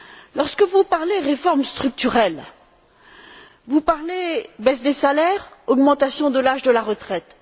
Lorsque vous parlez de réformes structurelles, vous parlez de baisse des salaires, d'augmentation de l'âge de la retraite.